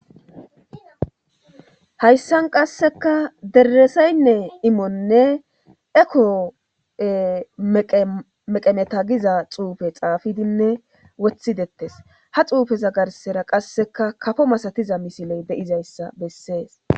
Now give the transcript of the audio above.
hayssan qasseka dereseynne imonne eko meqemeta giza xuufe xaafidinne wothidettes ha xuufeza garsera qasseka kafo masatiza misiley beyizayssa bessees